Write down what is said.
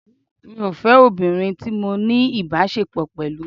Mi ò fẹ́ obìnrin tí mo ní ìbáṣepọ̀ pẹ̀lú.